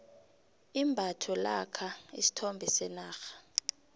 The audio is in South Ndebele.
imbatho lakha isithombe senarha